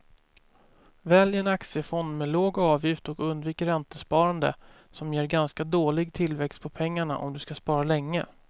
Välj en aktiefond med låg avgift och undvik räntesparande som ger ganska dålig tillväxt på pengarna om du ska spara länge.